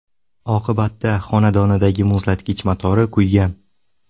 Oqibatda xonadonidagi muzlatgich motori kuygan.